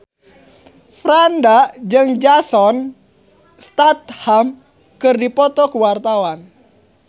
Franda jeung Jason Statham keur dipoto ku wartawan